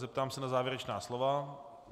Zeptám se na závěrečná slova.